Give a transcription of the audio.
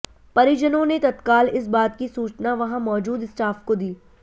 परिजनों ने तत्काल इस बात की सूचना वहां मौजूद स्टाफ को दी